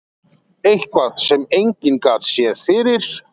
Eitthvað sem enginn gat séð fyrir.